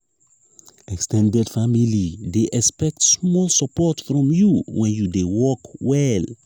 ex ten ded family dey expect small support from you when you dey work well.